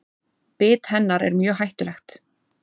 Bit hennar er mjög hættulegt.